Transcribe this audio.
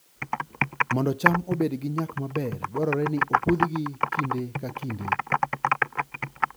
Mondo cham obed gi nyak maber, dwarore ni opudhgi kinde ka kinde